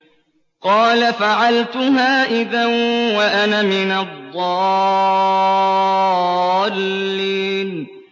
قَالَ فَعَلْتُهَا إِذًا وَأَنَا مِنَ الضَّالِّينَ